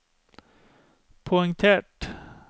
poengtert